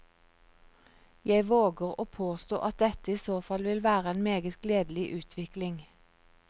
Jeg våger å påstå at dette i så fall vil være en meget gledelig utvikling.